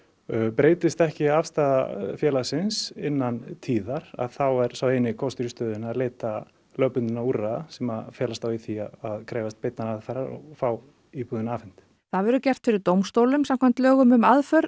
breytist ekki afstaða félagsins innan tíðar að þá er sá eini kostur í stöðunni að leita lögbundinna úrræða sem felast þá í því að krefjast beinnar aðfarar og fá íbúðina afhenta það verður gert fyrir dómstólum samkvæmt lögum um aðför